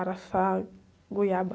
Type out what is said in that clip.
Araçá, goiaba.